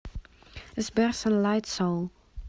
сбер санлайт соул